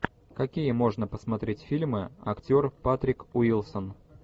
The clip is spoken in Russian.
какие можно посмотреть фильмы актер патрик уилсон